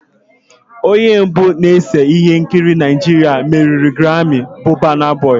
Onye mbụ na-ese ihe nkiri Naịjirịa meriri grammi bụ burna boy